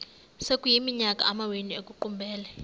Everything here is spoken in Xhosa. sekuyiminyaka amawenu ekuqumbele